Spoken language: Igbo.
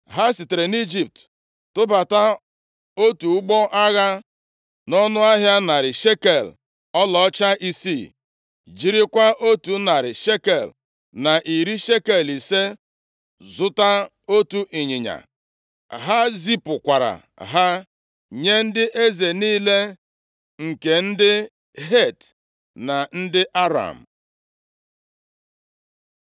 Ha sitere nʼIjipt tụbata otu ụgbọ agha nʼọnụ ahịa narị shekel ọlaọcha isii, jirikwa otu narị shekel na iri shekel ise zụta otu ịnyịnya. Ha zipụkwara ha nye ndị eze niile nke ndị Het na ndị Aram.